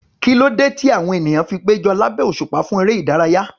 Kí ló dé tí àwọn ènìyàn fi péjọ lábẹ́ òṣùpá fún eré ìdárayá?